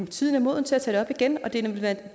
tiden er moden til at tage det op igen og det